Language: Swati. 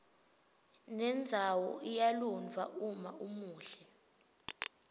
nendzawoiya lunydwa umaumuhle